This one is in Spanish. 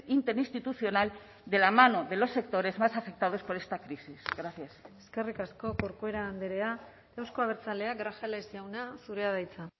interinstitucional de la mano de los sectores más afectados por esta crisis gracias eskerrik asko corcuera andrea euzko abertzaleak grajales jauna zurea da hitza